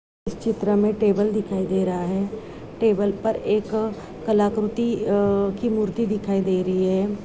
इस चित्र में टेबल दिखाई दे रहा है टेबल पर एक कलाकृति अ की मूर्ति दिखाई दे रही है।